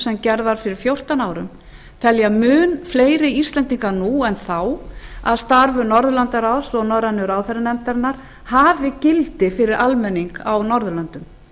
sem gerð var fyrir fjórtán árum telja mun fleiri íslendingar nú en þá að starf norðurlandaráðs og norrænu ráðherranefndarinnar hafi gildi fyrir almenning á norðurlöndum